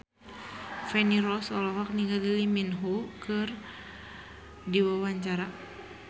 Feni Rose olohok ningali Lee Min Ho keur diwawancara